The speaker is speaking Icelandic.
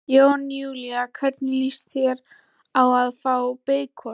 Jón Júlíus: Hvernig lýst þér á að fá beikon?